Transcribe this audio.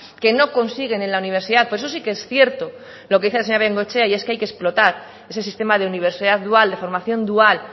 que no consiguen en la universidad por eso sí que es cierto lo que dice la señora bengoechea y es que hay que explotar ese sistema de universidad dual de formación dual